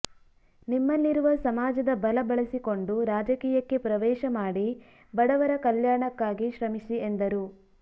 ನಿಮ್ಮಲ್ಲಿರುವ ಸಮಾಜದ ಬಲ ಬಳಸಿಕೊಂಡು ರಾಜಕೀಯಕ್ಕೆ ಪ್ರವೇಶ ಮಾಡಿ ಬಡವರ ಕಲ್ಯಾಣಕ್ಕಾಗಿ ಶ್ರಮಿಸಿ ಎಂದರು